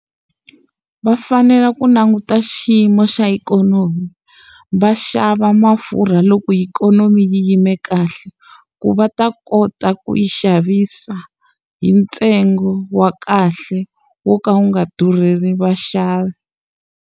Va fanele ku languta xiyimo xa ikhonomi, va xava mafurha loko ikhonomi yi yime kahle. Ku va ta kota ku yi xavisa hi ntsengo wa kahle wo ka wu nga durheli va xavi.